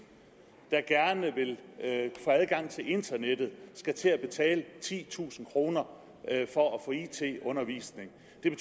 der gerne vil have adgang til internettet skal til at betale titusind kroner for at få it undervisning